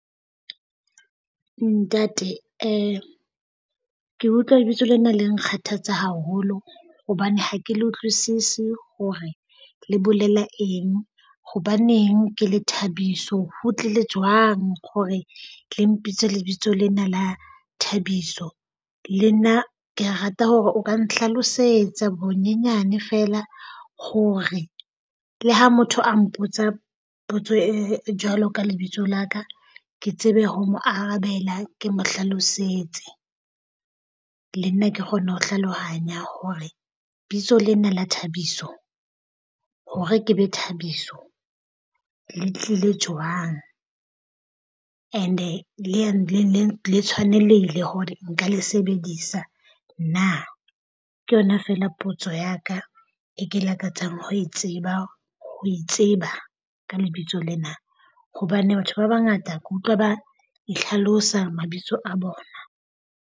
Ntate ke utlwa lebitso lena le nkgathatsa haholo hobane ha ke le utlwisise hore le bolela eng. Hobaneng ke le Thabiso? Ho tlile jwang hore le mpitse lebitso lena la Thabiso? Le nna ke rata hore o ka nhlalosetsa bonyenyane feela hore le ha motho a mpotsa potso e jwalo ka lebitso la ka, ke tsebe ho mo arabela ke mo hlalosetse. Le nna ke kgone ho hlalohanya hore bitso lena la Thabiso hore ke be Thabiso le tlile jwang. And-e le tshwanelehile hore nka le sebedisa na? Ke yona feela potso ya ka e ke lakatsang ho e tseba. Ho itseba ka lebitso lena, hobane batho ba bangata ke utlwa ba ihlalosa mabitso a bona.